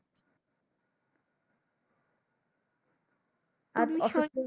আচ্ছা